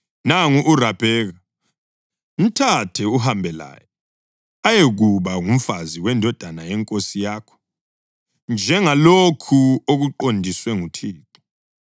Nangu uRabheka; mthathe uhambe laye ayekuba ngumfazi wendodana yenkosi yakho, njengalokhu okuqondiswe nguThixo.”